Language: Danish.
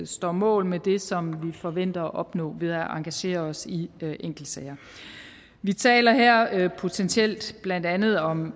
står mål med det som vi forventer at opnå ved at engagere os i enkeltsager vi taler her potentielt blandt andet om